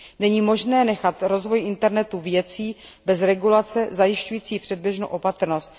Není možné nechat rozvoj internetu věcí bez regulace zajišťující předběžnou opatrnost.